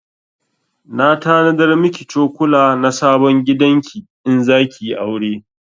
Na tanadar miki cokula na sabon gidan ki in zaki yi aure